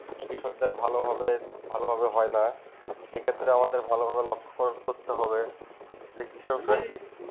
কৃষক দের ভালো ভাবে হয়ে না সেই ক্ষেত্রে আমাদের ভালো ভাবে লেখকরণ করতে হবে যে কৃষক